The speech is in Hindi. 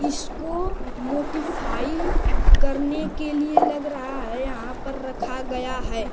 इसको मोटिफाई करने के लिए लग रहा है यहाँ पर रखा गया है।